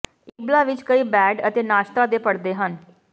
Ibla ਵਿਚ ਕਈ bed ਅਤੇ ਨਾਸ਼ਤਾ ਦੇ ਪਰਦੇ ਹਨ